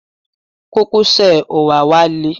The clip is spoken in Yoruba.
Kókósẹ̀ òwáwá le.